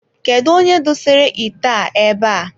Kedụ onye dosere ite a abe a.